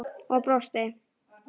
Og brosti!